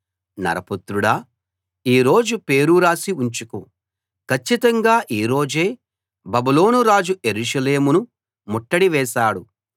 నరపుత్రుడా ఈ రోజు పేరు రాసి ఉంచుకో కచ్చితంగా ఈ రోజే బబులోను రాజు యెరూషలేమును ముట్టడి వేశాడు